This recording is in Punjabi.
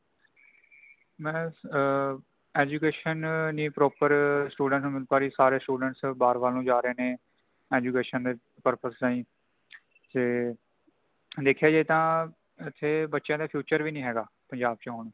ਮੈਂ ਆਂ Education ਨਹੀਂ proper student ਨੂੰ ਮਿਲ ਪਾ ਰਹੀ ,ਸਾਰੇ student ਬਾਹਰ ਵੱਲ ਨੂੰ ਜਾ ਰਹੇ ਨੇ, Education ਦੇ purpose ਰਾਹੀਂ ਤੇ | ਦੇਖਿਆ ਜਾਏ ਤਾ ,ਇਥੇ ਬੱਚਿਆਂ ਦਾ future ਵੀ ਨਹੀਂ ਹੈਗਾ ਪੰਜਾਬ ਚ ਹੋਣ |